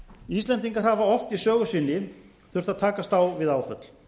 íslendingar hafa oft í sögu sinni þurft að haust á við áföll